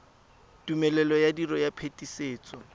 tumelelo ya tiro ya phetisetso